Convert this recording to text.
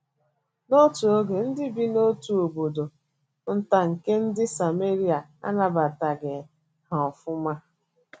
N’otu oge,, ndị bi n’otu obodo nta nke ndị Sameria anabataghị ha ofụma.